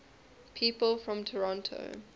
people from toronto